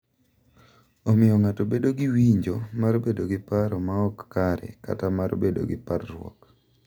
Omiyo ng’ato bedo gi winjo mar bedo gi paro ma ok kare kata mar bedo gi parruok.